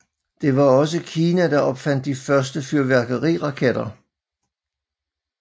Det var også Kina der opfandt de første fyrværkeriraketter